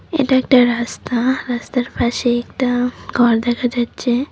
এটা একটা রাস্তা রাস্তার পাশে একটা ঘর দেখা যাচ্ছে।